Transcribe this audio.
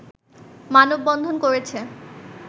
মানববন্ধন করেছে